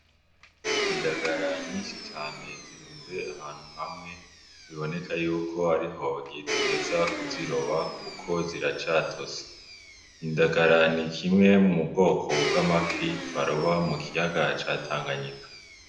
Indagara nyinshi cane zirunze ahantu hamwe biboneka yuko ariho bagiheza kuziroba kuko ziracatosa indagara n'ikimwe mu bwoko bw'amafi baroba mu kiyaga ca tanganyika.